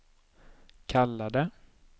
kallade